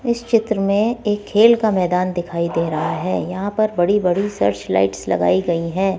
इस चित्र में एक खेल का मैदान दिखाई दे रहा है यहां पर बड़ी बड़ी सर्च लाइट्स लगाई गई है।